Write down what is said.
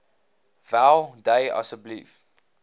wel dui asseblief